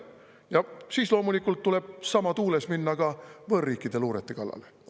Ja siis tuleb loomulikult samas tuules minna võõrriikide luurete kallale.